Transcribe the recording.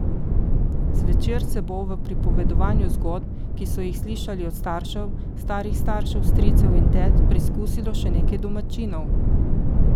Zvečer se bo v pripovedovanju zgodb, ki so jih slišali od staršev, starih staršev, stricev in tet, preizkusilo še nekaj domačinov.